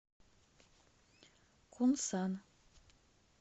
кунсан